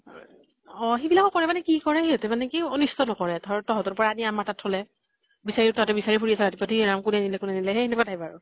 অহ সেইবিলাকো কৰে মানে কি কৰে সিহঁতে মানে কি অনিষ্ট নকৰে। ধৰ তহঁতৰ পৰা আনি আমাৰ তাত থলে। বিচাৰি তহঁতে বিচাৰি ফুৰি আছা য়ে ৰাম কোনে নিলে কোনে নিলে সেই সেনেকুৱা type আৰু।